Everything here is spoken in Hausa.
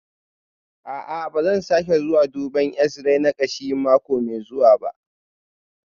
A'a, ba zan sake zuwa duban x-ray na kashi mako mai zuwa ba